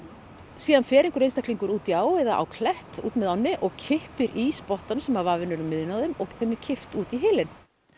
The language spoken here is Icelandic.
síðan fer einhver einstaklingur út í á eða á klett út með ánni og kippir í spottann sem var vafinn um miðjuna og þeim og þeim var kippt út í hylinn